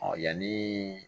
Ɔ yanni